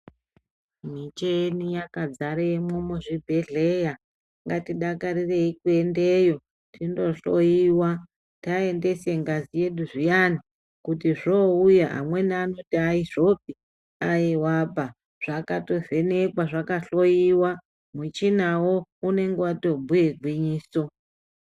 Micheni yakadzaremwo muzvibhedhleya ngatidakarirei kuendeyo tindohloiwa. Taendese ngazi yedu zviyani kuti zvouya amweni anoti haizvopi aivaba zvakatovhenekwa zvakahloiwa, muchinavo unonga vatombuya gwinyiso.